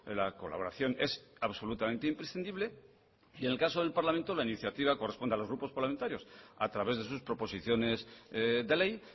la colaboración es absolutamente imprescindible y en el caso del parlamento la iniciativa corresponde a los grupos parlamentarios a través de sus proposiciones de ley